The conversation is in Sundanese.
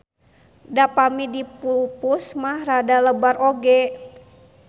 Da pami dipupus mah rada lebar oge.